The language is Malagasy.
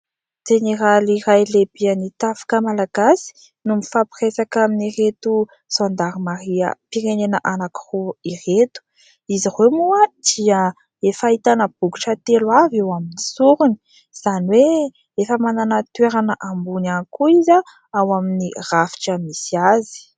Jeneraly iray lehibehan'ny tafika malagasy no mifampiresaka amin'ireto zandarimariam-pirenena anankiroa ireto. Izy ireo moa dia efa ahitana bokotra telo avy amin'ny sorony. Izany hoe efa manana toerana ambony ihany koa izy ao amin'ny faritra misy azy.